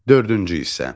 Dördüncü hissə.